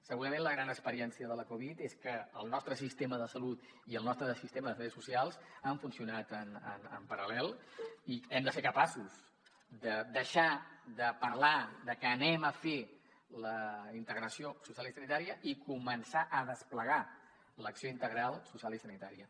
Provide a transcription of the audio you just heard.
segurament la gran experiència de la covid és que el nostre sistema de salut i el nostre sistema de serveis socials han funcionat en paral·lel i hem de ser capaços de deixar de parlar de que farem la integració social i sanitària i començar a desplegar l’acció integral social i sanitària